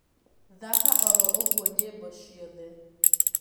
thaka oro uguo nyĩmbo cĩothe